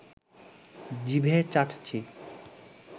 জিভে চাটছি